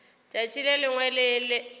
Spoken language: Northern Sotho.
tšatši le lengwe le le